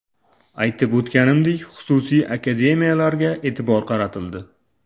Aytib o‘tganimdek, xususiy akademiyalarga e’tibor qaratildi.